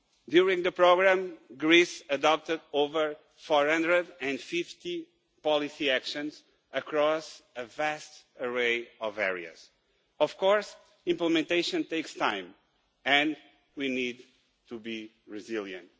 During the programme, Greece adopted over 450 policy actions across a vast array of areas. Of course, implementation takes time, and we need to be resilient.